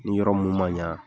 Ni yɔrɔ mun man ɲa,